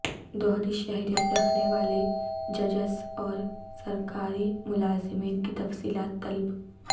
دوہری شہریت رکھنے والے ججز اور سرکاری ملازمین کی تفصیلات طلب